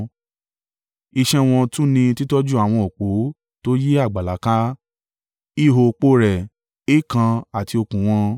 Iṣẹ́ wọn tún ni títọ́jú àwọn òpó tó yí àgbàlá ká, ihò òpó rẹ̀, èèkàn àti okùn wọn.